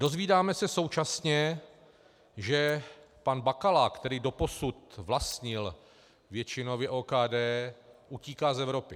Dozvídáme se současně, že pan Bakala, který doposud vlastnil většinově OKD, utíká z Evropy.